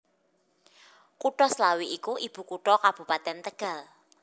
Kutha Slawi iku ibukutha Kabupatèn Tegal